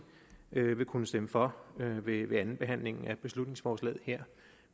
vil kunne stemme for ved andenbehandlingen af beslutningsforslaget her